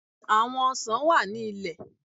À̀wọn ọsàn wà ní ilẹ.